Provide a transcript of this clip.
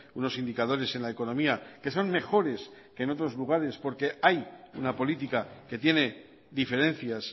unos indicadores en la economía que son mejores que en otros lugares porque hay una política que tiene diferencias